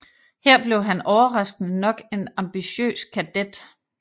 Her blev han overraskende nok en ambitiøs kadet